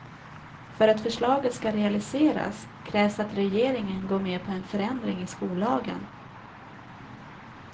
För att förslaget ska realiseras krävs att regeringen går med på en förändring i skollagen.